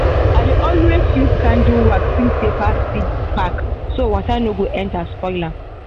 i dey always use candle wax seal paper seed pack so water no go enter spoil am.